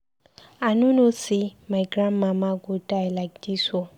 I no know say my Grand mama go die like dis ooo.